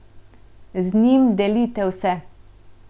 Z njim delite vse.